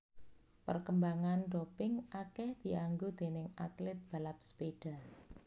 Perkembangan doping akeh dianggo déning atlet balap sepeda